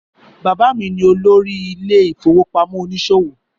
Bàbá mi ni olórí ilé ìfowópamọ́ oníṣòwò